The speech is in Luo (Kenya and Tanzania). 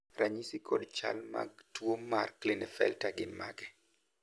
ranyisi kod chal mag tuo mar Klinefelter gin mage?